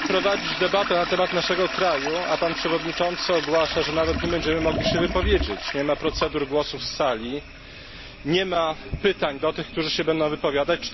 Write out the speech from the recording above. Panie Przewodniczący! Mamy prowadzić debatę na temat naszego kraju, a pan przewodniczący ogłasza, że nawet nie będziemy mogli się wypowiedzieć. Nie ma procedur głosów z sali, nie ma pytań do tych, którzy się będą wypowiadać.